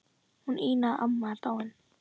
Hún Ína amma er dáin.